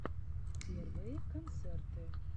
первые концерты